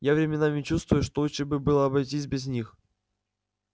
я временами чувствую что лучше было бы обойтись без них